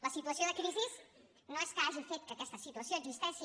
la situació de crisi no és que hagi fet que aquesta situació existeixi